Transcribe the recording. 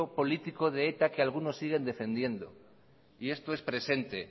político de eta que algunos siguen defendiendo y esto es presente